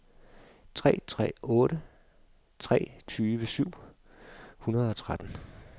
tre tre otte tre tyve syv hundrede og tretten